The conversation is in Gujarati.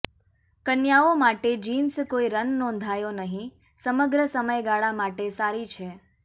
કન્યાઓ માટે જીન્સ કોઈ રન નોંધાયો નહીં સમગ્ર સમયગાળા માટે સારી છે